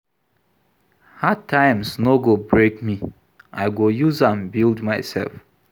Hard times no go break me, I go use am build mysef.